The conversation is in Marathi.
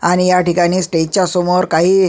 आणि ह्या ठिकाणी स्टेज च्या समोर काही--